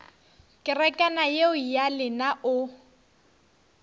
kerekana yeo ya lena o